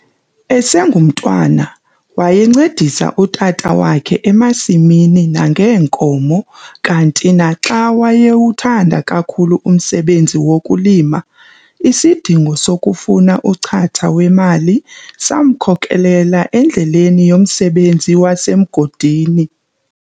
Esengumntwana, wayencedisa utata wakhe emasimini nangeenkomo kanti naxa wayewuthanda kakhulu umsebenzi wokulima, isidingo sokufuna uchatha wemali samkhokelela endleleni yomsebenzi wasemgodini.